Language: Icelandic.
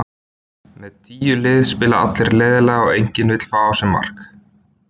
Með tíu lið spila allir leiðinlega og enginn vill fá á sig mark.